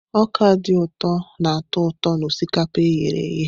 Ọka dị ụtọ na-atọ ụtọ na osikapa e ghere eghe.